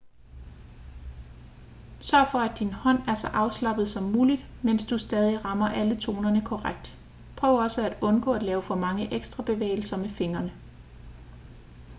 sørg for at din hånd er så afslappet som muligt mens du stadig rammer alle tonerne korrekt prøv også at undgå at lave for mange ekstra bevægelser med fingrene